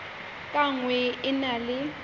ka nngwe e na le